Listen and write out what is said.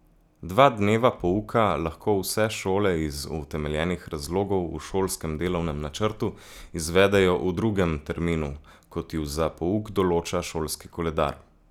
Dva dneva pouka lahko vse šole iz utemeljenih razlogov v šolskem delovnem načrtu izvedejo v drugem terminu, kot ju za pouk določa šolski koledar.